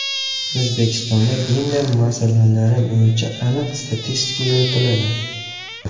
O‘zbekistonda gender masalalari bo‘yicha aniq statistika yuritiladi.